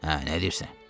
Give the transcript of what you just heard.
Hə, nə deyirsən?